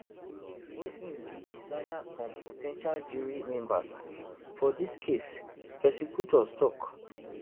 wey im bin desire on po ten tial jury members for dis case prosecutors tok